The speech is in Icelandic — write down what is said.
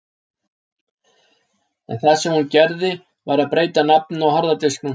En það sem hún gerði var að breyta nafninu á harða disknum.